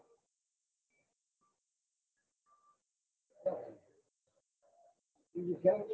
તે બીજા ની